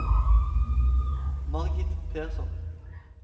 Margit Persson